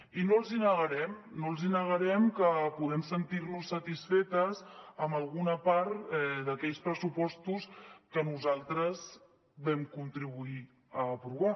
i no els hi negarem no els negarem que podem sentir nos satisfetes amb alguna part d’aquells pressupostos que nosaltres vam contribuir a aprovar